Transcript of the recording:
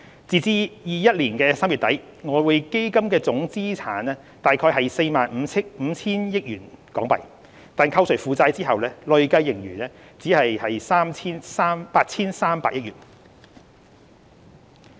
截至2021年3月底，外匯基金的總資產約為 45,000 億港元，但扣除負債後，累計盈餘只有約 8,300 億港元。